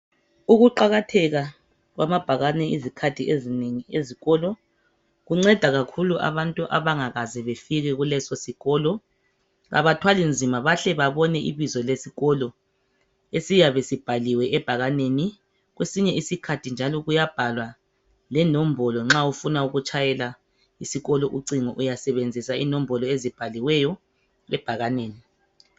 Ukuqakatheka kwamabhakane izikhathi ezinengi ezikolo kunceda kakhulu abantu abangakaze befike kulesi sikolo abathwali nzima bahle babone ibizo lesikolo esiyabe sibhaliwe ebhakaneni kwesinye isikhathi njalo kuyabhalwa lenombolo nxa ufuna ukutshayela isikolo ucingo uyasebenzisa inombolo ezibhaliweyo ebhakaneni.